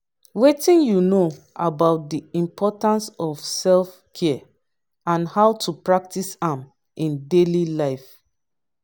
wetin you know about di importance of self-care and how to practice am in daily life?